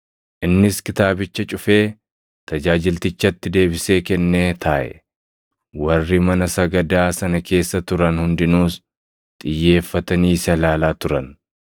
Innis kitaabicha cufee tajaajiltichatti deebisee kennee taaʼe; warri mana sagadaa sana keessa turan hundinuus xiyyeeffatanii isa ilaalaa turan.